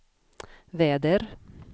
väder